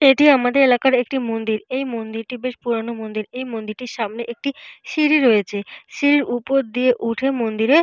এটি আমাদের এলাকার একটি মন্দির। এই মন্দিরটি বেশ পুরোনো মন্দির। এই মন্দিরটির সামনে একটি সিঁড়ি রয়েছে। সিঁড়ির উপর দিয়ে উঠে মন্দিরে।